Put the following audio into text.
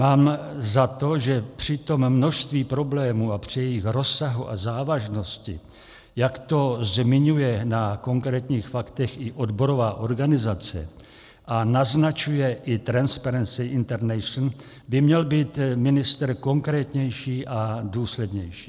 Mám za to, že při tom množství problémů a při jejich rozsahu a závažnosti, jak to zmiňuje na konkrétních faktech i odborová organizace a naznačuje i Transparency International, by měl být ministr konkrétnější a důslednější.